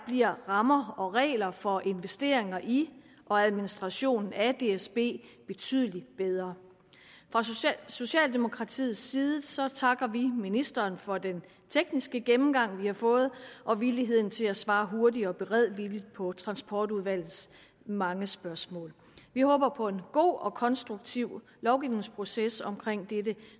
bliver rammer og regler for investeringer i og administrationen af dsb betydelig bedre fra socialdemokratiets side takker vi ministeren for den tekniske gennemgang vi har fået og villigheden til at svare hurtigt og beredvilligt på transportudvalgets mange spørgsmål vi håber på en god og konstruktiv lovgivningsproces omkring dette